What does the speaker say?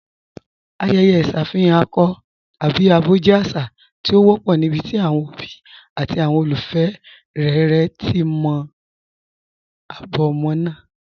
Ayẹ̀yẹ̀ iṣafihàn akọ̀ tabi abọ jẹ́ àṣà tí o wọ̀pọ̀ níbití awọn obì àti awọn olúfẹ́ rẹ̀rẹ̀ ti mọ̀ abọ̀ ọmọ́ náà.